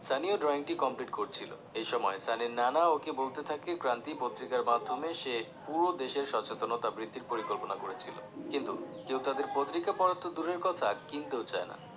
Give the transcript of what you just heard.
সানি ও drawing টি complete করছিলো, এসময় সানির নানা ওকে বলতে থাকে ক্রান্তি পত্রিকার মাধ্যমে সে পুরো দেশের সচেতনতা বৃদ্ধির পরিকল্পনা করেছিলো কিন্তু কেউ তাঁদের পত্রিকা পড়া তো দুরের কথা, কিনতে ও চায়না